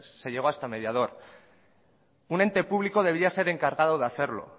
se llegó hasta mediador un ente público debería ser encargado de hacerlo